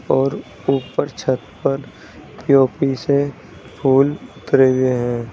और ऊपर छत पर पी_ओ_पी से फूल उतरे हुए हैं।